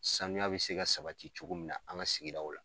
Sanuya bɛ se ka sabati cogo min na an ka sigi o la.